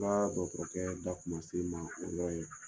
Nka dɔkɔtɔrɔ kɛ da kun man se min ma o yɔrɔ ye.